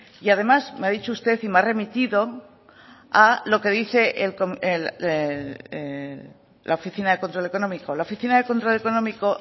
y además me ha dicho usted y me ha remitido a lo que dice la oficina de control económico la oficina de control económico